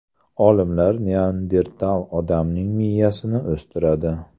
Olimlar neandertal odamning miyasini o‘stiradi.